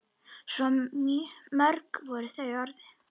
Svo mörg voru þau orð.